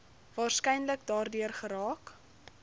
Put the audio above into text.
waarskynlik daardeur geraak